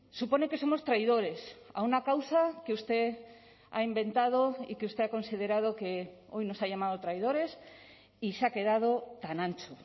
supone que somos traidores a una causa que usted ha inventado y que usted ha considerado que hoy nos ha llamado traidores y se ha quedado tan ancho